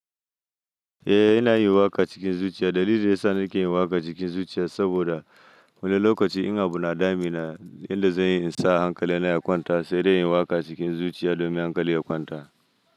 Eh, ina yin waka cikin zuciya. Dalilin da ya sa nake yin waka cikin zuciya saboda wani lokaci in abu na dami na, inda zan iya in sa hankali na ya kwanta, sai dai yin waka cikin zuciya domin hankali ya kwanta.